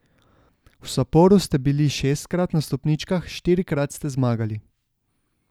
V Saporu ste bili šestkrat na stopničkah, štirikrat ste zmagali.